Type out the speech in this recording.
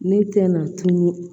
Ne tɛna tunun